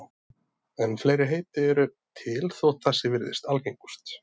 En fleiri heiti eru til þótt þessi virðist algengust.